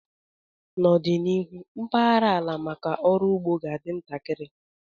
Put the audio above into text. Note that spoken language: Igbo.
N'ọdịnihu, mpaghara ala maka ọrụ ugbo ga-adị ntakịrị